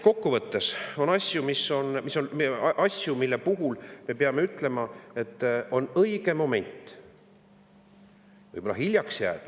Kokku võttes on asju, mille puhul me peame ütlema, et on õige moment, aga võib-olla on hiljaks jäädud.